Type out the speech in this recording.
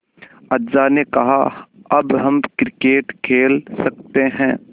अज्जा ने कहा अब हम क्रिकेट खेल सकते हैं